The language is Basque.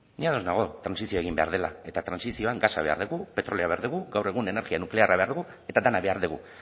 ni ados nago trantsizioa egin behar dela eta trantsizioan gasa behar dugu petrolioa behar dugu gaur egun energia nuklearra behar dugu eta dena behar dugu